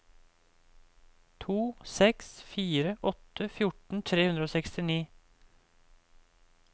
to seks fire åtte fjorten tre hundre og sekstini